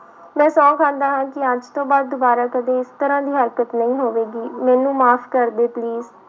ਮੈਂ ਸਹੁੰ ਖਾਂਦਾ ਹਾਂ ਕਿ ਅੱਜ ਤੋਂ ਬਾਅਦ ਦੁਬਾਰਾ ਕਦੇ ਇਸ ਤਰ੍ਹਾਂ ਦੀ ਹਰਕਤ ਨਹੀਂ ਹੋਵੇਗੀ, ਮੈਨੂੰ ਮਾਫ਼ ਕਰ ਦੇ please